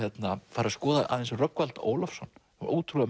fara að skoða aðeins Rögnvald Ólafsson ótrúlega